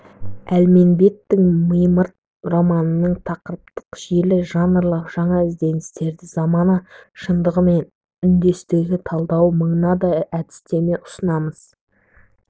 әлменбеттің мимырт романындағы тақырыптық желі жанрлық жаңа ізденістердің замана шындығымен үндестігін талдауда мынадай әдістеме ұсынамыз